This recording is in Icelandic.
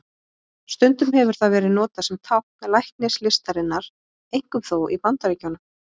Stundum hefur það verið notað sem tákn læknislistarinnar, einkum þó í Bandaríkjunum.